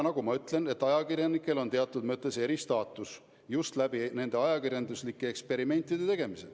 "Nagu ma ütlen, ajakirjanikel on teatud mõttes eristaatus, just läbi nende ajakirjanduslike eksperimentide tegemise.